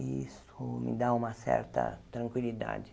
E isso me dá uma certa tranquilidade.